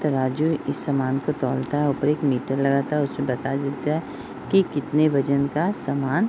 तराजू इस समान को तौलता है | ऊपर एक मीटर लगता है उस से बता देता है कि कितने वजन का सामान --